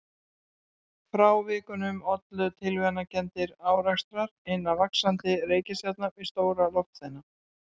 Frávikunum ollu tilviljanakenndir árekstrar hinna vaxandi reikistjarna við stóra loftsteina.